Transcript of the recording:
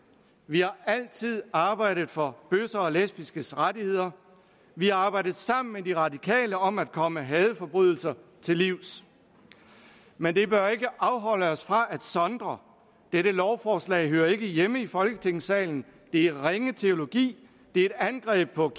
vi har altid arbejdet for bøsser og lesbiskes rettigheder vi har arbejdet sammen med de radikale om at komme hadforbrydelser til livs men det bør ikke afholde os fra at sondre dette lovforslag hører ikke hjemme i folketingssalen det er ringe teologi det er et angreb på